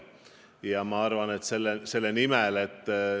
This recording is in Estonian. Ja see oht on.